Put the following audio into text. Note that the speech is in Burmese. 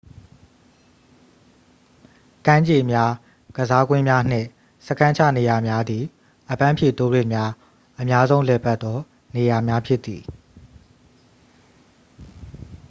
ကမ်းခြေများ ကစားကွင်းများနှင့် စခန်းချနေရာများသည် အပန်းဖြေတိုးရစ်များ အများဆုံးလည်ပတ်သော နေရာများဖြစ်သည်